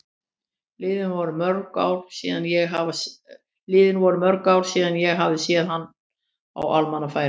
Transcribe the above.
Liðin voru mörg ár síðan ég hafði séð hana á almannafæri.